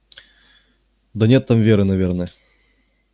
да нет там веры наверное